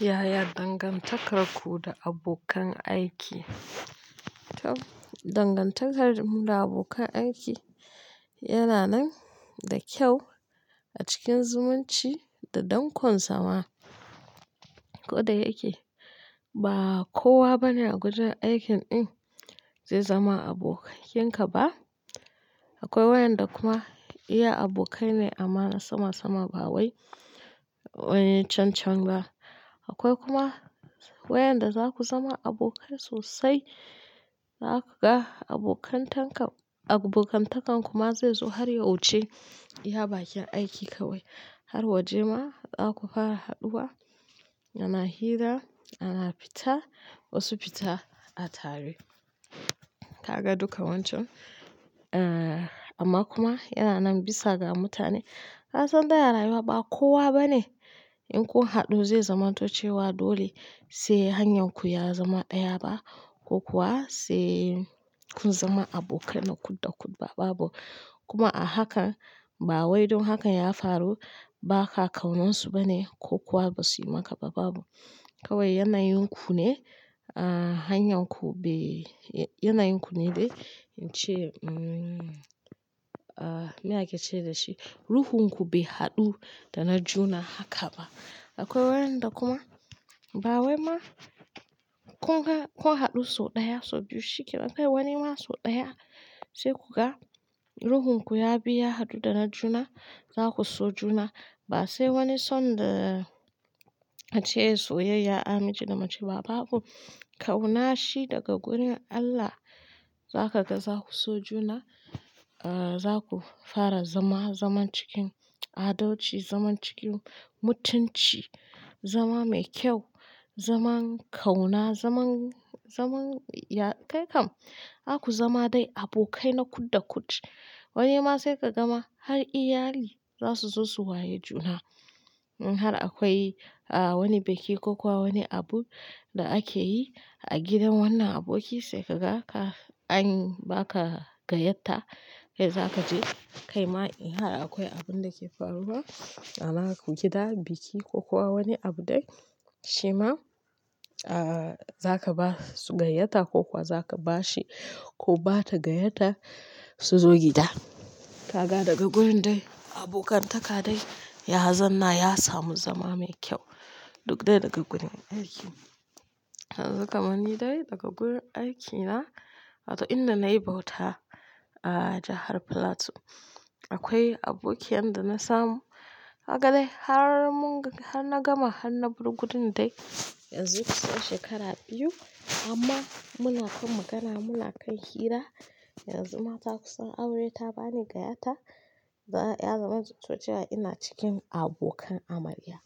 Yaya dangantakarku da abokan aiki? Dangantakar mu da abokan aiki yana nan da kyau a cikin zumunci da dankon sama. Koda yake ba kowa bane a gurin aikin din zai zama abokai kin ka ba. Akwai wayanda kuma iya abokai ne amana sama sama ba wai, eh can can ba. Akwai kuma wayanda zaku zama abokai sosai, za kaga abokantakan ku ma zai zo har ya wuci iya bakin aiki kawai har waje ma zaku fara haduwa, yana hira, ana fita, wasu fita, a tare. Kaga duka wancan, amma kuma ya nan bisa ga mutane ka san dai a rayuwa ba kowa bane in kun haɗu zai zamanto cewa dole sai hanyarku ya zama ɗaya ba ko kuwa sai kun zama abokai na kudda kud ba, babu. Kuma a haka ba wai dun haka ya faru ba, ka kauna su bane ko kuwa basu yi maka ba, babu. Kawai yanayin ku ne, ah hanyarku bai, yanayin ku ne bai ce um, ah me ake ce dashi, ruhunku bai haɗu da na juna haka ba. Akwai wayanda kuma ba wai ma kun haɗu sau ɗaya, sau biyu shikenan. Akwai wani ma sau ɗaya sai kuka ga ruhunku ya bi ya haɗu da na juna, zaku so juna. Ba sai wani son da ace soyayya, a namiji da mace ba, babu. Kauna shi daga gurin Allah za kaga zaku so juna ah za ku fara zama zaman cikin adalci, zaman cikin mutunci, zama mai kyau, zaman kauna, zaman, zaman ya kai kam. Za ku zama dai abokai na kudda kud. Wani ma sai ka gama har iyali za su zo su waye juna. Har akwai ah wani biki ko kuwa wani abu da ake yi a gidan wannan aboki sai kaga ka anyi ba ka gayyata, sai za ka je kai ma in har akwai abun da ke faruwa a gida, biki ko kuwa wani abu dai shima ah za ka ba su gayyta ko kuwa za ka ba shi ko ba ta gayyata su zo gida. Kaga daga wurin dai abokantaka dai ya zanna ya samu zama mai kyau duk dai daga wurin aiki. Yanzu kamani dai daga wurin aikina, inda na yi bauta a jahar Plateau. Akwai aboki yanda na samu haka dai har mun, har na gama har na birguden dai yanzu kusan shekara biyu amma muna kan magana, muna kan hira. Yanzu ma ta kusan aure ta bani gayyata yanzu zan cewa ina cikin abokan amarya.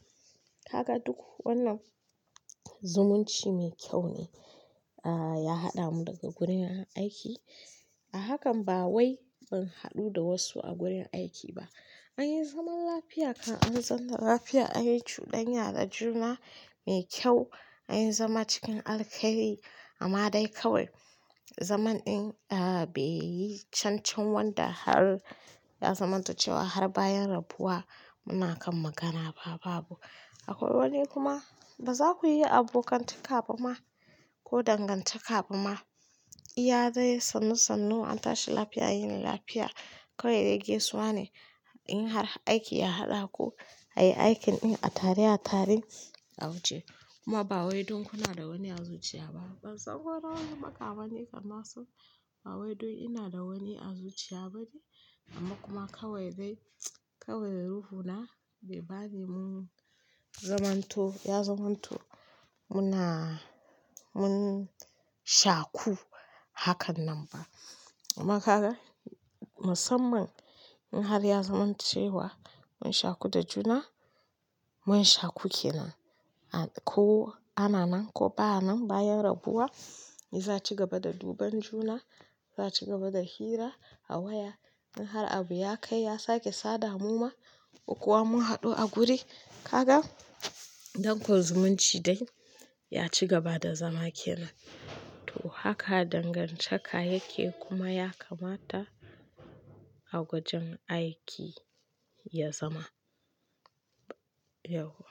Kaga duk wannan zumunci mai kyau ne ah ya haɗa mu daga gurin aiki. A hakan ba wai mun haɗu da wasu a gurin aiki ba. Anyi zaman lafiya kam an zanna lafiya anyi cuɗanya da juna mai kyau, anyi zama cikin alkhairi amma dai kawai zaman din ah bai yi can can wanda har ya zamanto cewa har bayan rabuwa muna kan magana ba, babu. Akwai wani kuma ba za ku yi abokantaka ba ma ko dangantaka ba ma. Iya dai sannu sannu an tashi lafiya an yini lafiya. Kawai dai gaisuwa ne in har aiki ya haɗa ku ayi aikin din a tare a taren a wuce. Kuma ba wai dun kuna da wani azuciya ba. Ban san ko nawa suka bani kaman su ba wai duk ina da wani azuciya bane amma kuma kawai dai, kawai ruhuna bai bani mun zamanto, ya zamanto muna, mun shaku hakan nan ba. Amma kaga musamman in har ya zamanto cewa mun shaku da juna, mun shaku kenan. Ko ana nan ko ba nan bayan rabuwa, za a ci gaba da duban juna, ya ci gaba da hira a waya. In har abu ya kai ya sake sada mu ma ko kuwa mun haɗu a guri, kaga dankon zumunci dai ya ci gaba da zama kenan. To haka dangantaka yake kuma ya kamata a wajen aiki ya zama yauwa.